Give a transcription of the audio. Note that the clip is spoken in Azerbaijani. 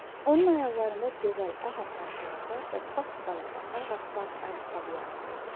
Onun ayaqlarında gözəl ağappaq corablar və bap balaca ağappaq ayaqqabılar var idi.